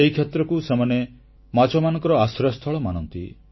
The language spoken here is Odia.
ଏହି କ୍ଷେତ୍ରକୁ ସେମାନେ ମାଛମାନଙ୍କର ଆଶ୍ରୟସ୍ଥଳ ମାନନ୍ତି